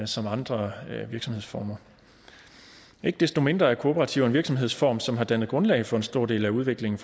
som andre virksomhedsformer ikke desto mindre er kooperativer en virksomhedsform som har dannet grundlag for en stor del af udviklingen